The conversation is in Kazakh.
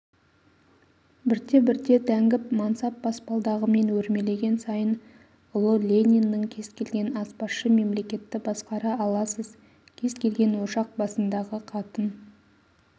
бірте-бірте дәнгіп мансап баспалдағымен өрмелеген сайын ұлы лениннің кез келген аспазшы мемлекетті басқара аласыз кез келген ошақ басындағы қатын